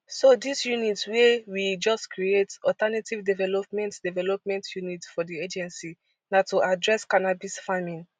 so dis unit wey we just create alternative development development unit for di agency na to address cannabis farming